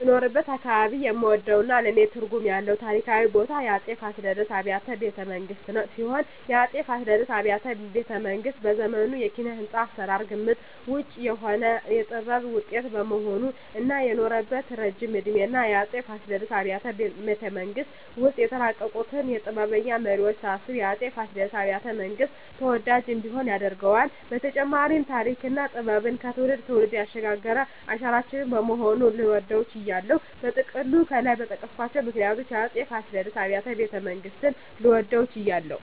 በምኖርበት አካባባቢ የምወደውና ለኔ ትርጉም ያለው ታሪካዊ ቦታ የአፄ ፋሲለደስ አብያተ ቤተመንግስት ሲሆን፣ የአፄ ፋሲለደስ አብያተ ቤተመንግስት በዘመኑ የኪነ-ህንጻ አሰራር ግምት ውጭ የሆነ የጥበብ ውጤት በመሆኑ እና የኖረበት እረጅም እድሜና የአፄ ፋሲለደስ አብያተ ቤተመንግስት ውስጥ የተፈራረቁትን ጥበበኛ መሪወች ሳስብ የአፄ ፋሲለደስ አብያተ- መንግስት ተወዳጅ እንዲሆን ያደርገዋል በተጨማሪም ተሪክና ጥበብን ከትውልድ ትውልድ ያሸጋገረ አሻራችን በመሆኑ ልወደው ችያለሁ። በጥቅሉ ከላይ በጠቀስኳቸው ምክንያቶች የአፄ ፋሲለደስ አብያተ ቤተመንግስትን ለመውደድ ችያለሁ